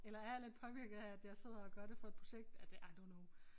Eller er jeg lidt påvirket af at jeg sidder og gør det for et projekt ej det I don't know